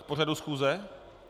K pořadu schůze?